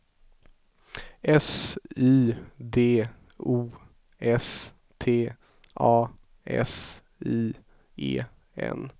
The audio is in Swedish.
S Y D O S T A S I E N